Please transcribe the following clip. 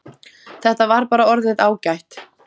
Þetta var bara orðið ágætt.